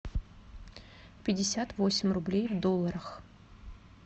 пятьдесят восемь рублей в долларах